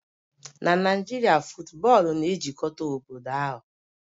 Na Naijiria, football na-ejikọta obodo ahụ